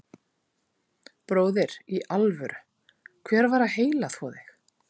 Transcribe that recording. Bróðir, í alvöru, hver var að heilaþvo þig?